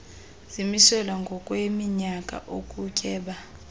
zimiselwa ngokweminyaka ukutyeba